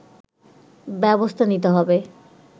ব্যবস্থা নিতে হবে